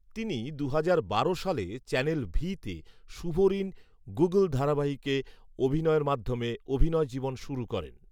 তিনি দুহাজার বারো সালে চ্যানেল ভি তে শুভঋণ গুগল ধারাবাহিকে অভিনয়ের মাধ্যমে অভিনয় জীবন শুরু করেন